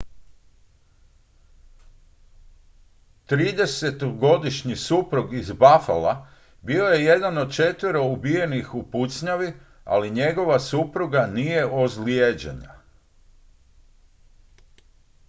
tridesetogodišnji suprug iz buffala bio je jedan od četvero ubijenih u pucnjavi ali njegova supruga nije ozlijeđena